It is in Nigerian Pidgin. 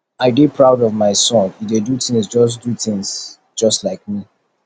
i dey proud of my son he dey do things just do things just like me